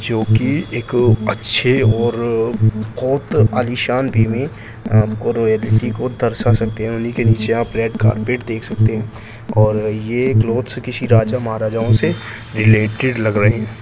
जो की एक अच्छे और बहुत आलीशान वे में आपको रॉयलिटी को दर्शा सकते हैं उन्ही के नीचे आप रेड कारपेट देख सकते हैं और ये क्लॉथस किसी राजा महाराजाओ से रिलेटेड लग रहें हैं।